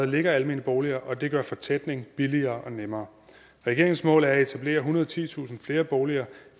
ligger almene boliger og det gør fortætningen billigere og nemmere regeringens mål er at etablere ethundrede og titusind flere boliger